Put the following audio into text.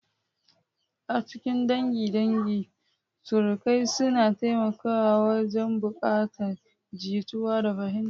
A cikin dangin dangi, surukai suna taimakawa wajen haɓaka jituwa da fahimta.